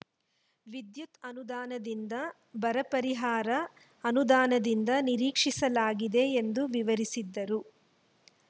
ವಿದ್ಯುತ್‌ ಅನುದಾನದಿಂದ ಬರಪರಿಹಾರ ಅನುದಾನದಿಂದ ನಿರೀಕ್ಷಿಸಲಾಗಿದೆ ಎಂದು ವಿವರಿಸಿದರು